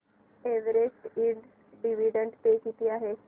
Everest Ind dividend pay किती आहे